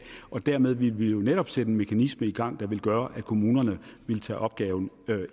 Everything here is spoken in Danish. derved ville vi jo netop sætte en mekanisme gang der ville gøre at kommunerne ville tage opgaven